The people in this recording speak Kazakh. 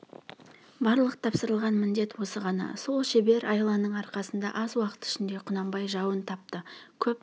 барлық тапсырылған міндет осы ғана сол шебер айланың арқасында аз уақыт ішінде құнанбай жауын тапты көп